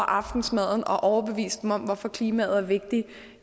aftensmaden overbevist dem om hvorfor klimaet er vigtigt